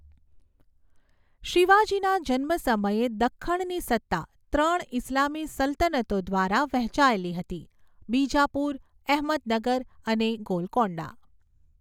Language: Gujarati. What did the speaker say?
શિવાજીના જન્મ સમયે, દખ્ખણની સત્તા ત્રણ ઇસ્લામી સલ્તનતો દ્વારા વહેંચાયેલી હતી, બીજાપુર, અહમદનગર અને ગોલકોંડા.